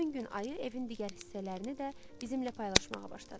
Həmin gün ayı evin digər hissələrini də bizimlə paylaşmağa başladı.